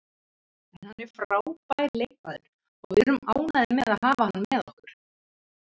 En hann er frábær leikmaður og við erum ánægðir með að hafa hann með okkur.